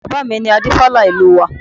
Bàbá mi ni Adífálà ìlú wa